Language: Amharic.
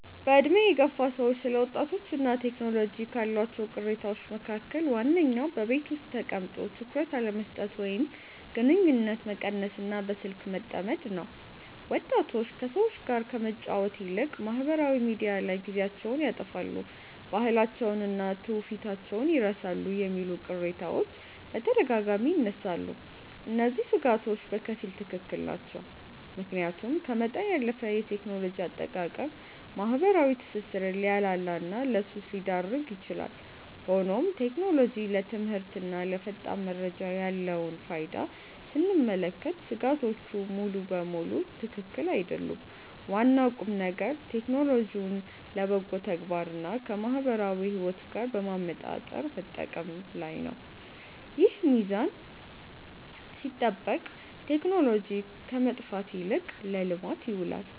በዕድሜ የገፉ ሰዎች ስለ ወጣቶችና ቴክኖሎጂ ካሏቸው ቅሬታዎች መካከል ዋነኛው በቤት ውስጥ ተቀምጦ ትኩረት አለመስጠት ወይም ግንኙነት መቀነስና በስልክ መጠመድ ነው። ወጣቶች ከሰዎች ጋር ከመጫወት ይልቅ ማኅበራዊ ሚዲያ ላይ ጊዜያቸውን ያጠፋሉ፣ ባህላቸውንና ትውፊታቸውን ይረሳሉ የሚሉ ቅሬታዎች በተደጋጋሚ ይነሳሉ። እነዚህ ሥጋቶች በከፊል ትክክል ናቸው፤ ምክንያቱም ከመጠን ያለፈ የቴክኖሎጂ አጠቃቀም ማኅበራዊ ትስስርን ሊያላላና ለሱስ ሊዳርግ ይችላል። ሆኖም ቴክኖሎጂ ለትምህርትና ለፈጣን መረጃ ያለውን ፋይዳ ስንመለከት ሥጋቶቹ ሙሉ በሙሉ ትክክል አይደሉም። ዋናው ቁምነገር ቴክኖሎጂውን ለበጎ ተግባርና ከማኅበራዊ ሕይወት ጋር በማመጣጠር መጠቀም ላይ ነው። ይህ ሚዛን ሲጠበቅ ቴክኖሎጂ ከጥፋት ይልቅ ለልማት ይውላል።